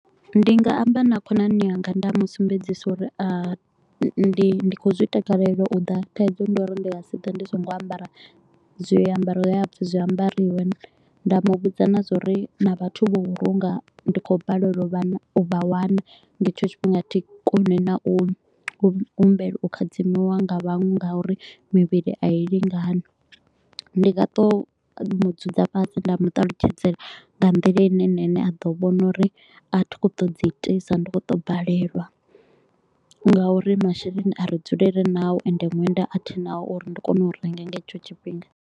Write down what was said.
Ndi nga amba na khonani yanga nda musumbedzisa uri ndi khou zwi takalela u ḓa thaidzo ndi uri ndi nga si ḓe ndi so ngo ambara zwiambaro he ha pfi zwi ambariwe. Nda mu vhudza na zwa uri na vhathu vha u vhulunga ndi khou balelwa u vha wana nga hetsho tshifhinga thi koni na u humbela u khadzimiwa nga vhaṅwe nga uri mivhili a i lingani. Ndi nga to mu dzudza fhasi nda mu ṱalutshedzela nga nḓila ine na ene a ḓo vhona uri a thi kho u to u dzi itisa ndi kho u to u balelwa nga uri masheleni a ri dzuli ri nao ende ṅwenda a thi naho uri ndi kone u renga nga hetsho tshifhinga.